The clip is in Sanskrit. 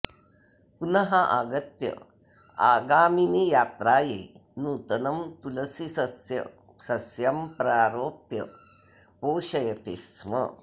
पुनः आगत्य आगामिनियात्रायै नूतनं तुलसीसस्यं प्रारोप्य पोषयति स्म